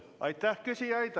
Aitäh, küsijad!